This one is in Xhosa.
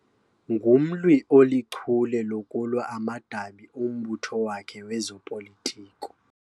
Ngumlwi olichule lokulwa amadabi ombutho wakhe wezopolitiko.